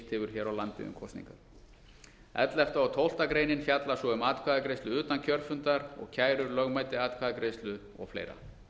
hefur hér á landi um kosningar ellefta og tólfta greinin fjalla svo um atkvæðagreiðslu utan kjörfundar og kærur lögmæti atkvæðagreiðslu og fleira